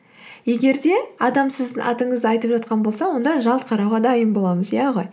егер де адам сіздің атыңызды айтып жатқан болса онда жалт қарауға дайын боламыз иә ғой